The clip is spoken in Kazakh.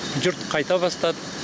жұрт қайта бастады